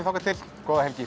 þangað til góða helgi